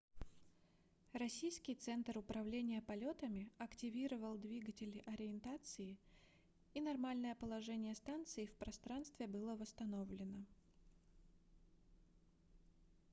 российский центр управления полетами активировал двигатели ориентации и нормальное положение станции в пространстве было восстановлено